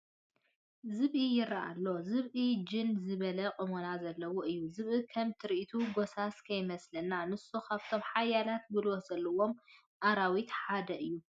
ዝብኢ ይርአ ኣሎ፡፡ ዝብኢ ጅን ዝበለ ቁመና ዘለዎ እዩ፡፡ ዝብኢ ከም ትርኢት ጐሳስ ከይመስለና፡፡ ንሱ ካብቶም ሓያል ጉልበት ዘለዎ ኣራዊት ሓደ እዩ፡፡